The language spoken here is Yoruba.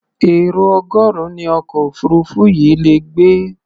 Èrò ọgọ́rùn-ún ni ọkọ̀ òfuurufú yìí le gbé.